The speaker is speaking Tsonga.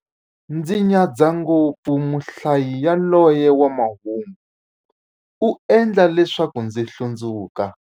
Ndzi nyadza ngopfu muhlayi yaloye wa mahungu, u endla leswaku ndzi hlundzuka.